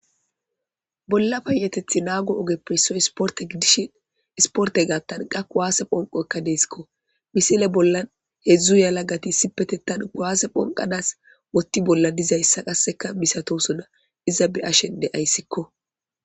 Bolla payyatethappe naago ogeppe issoy isporte gidishin isportey gaathan qasi kuwase bonqoyika deesko ,misile bolla heedzdzu yelagati issipetethan kuwase bonqanas woththa bolla dizaysa misatosona iza be7ashe de7aysikko.